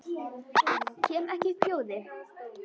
Kem ekki upp hljóði.